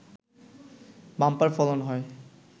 bumper ফলন হয়